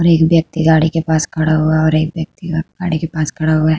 और एक व्यक्ति गाड़ी के पास खड़ा हुआ है और एक व्यक्ति के पास खड़ा हुआ है।